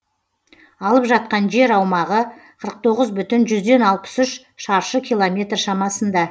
алып жатқан жер аумағы қырық тоғыз бүтін жүзден алпыс үш шаршы километр шамасында